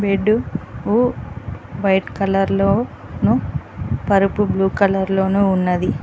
Bed కు white కలర్లో ను పరుపు బ్లూ కలర్ లోను ఉన్నది.